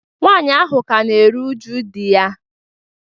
nwaanyị ahụ ka na-eru uju di ya